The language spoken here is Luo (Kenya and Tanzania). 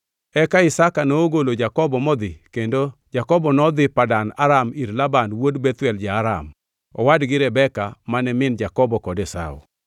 Eka Isaka nogolo Jakobo modhi kendo Jakobo nodhi Padan Aram, ir Laban wuod Bethuel ja-Aram, owad gi Rebeka, mane min Jakobo kod Esau.